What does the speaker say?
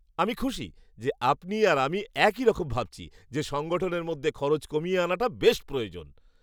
আমি খুশি যে, আপনি আর আমি একই রকম ভাবছি যে, সংগঠনের মধ্যে খরচ কমিয়ে আনাটা বেশ প্রয়োজন।